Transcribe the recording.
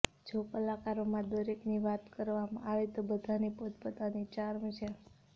જો કલાકારોમાં દરેકની વાત કરવામાં આવે તો બધાની પોત પોતાની ચાર્મ છે